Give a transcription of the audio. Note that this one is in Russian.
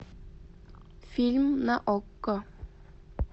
фильм на окко